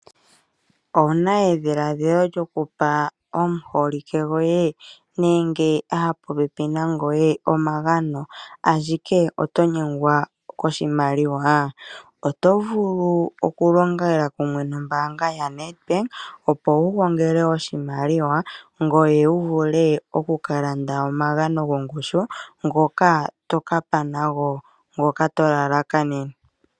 Owu na edhiladhilo lyokupa omuholike gwoye nenge omupopepi na goye omagano ashike otonyengwa koshimaliwa, otovulu oku longela kumwe nombaanga yaNEDBANK opo wu gongele oshimaliwa ngoye wu vule okukalanda omagano gongushu ngoka toka gandja.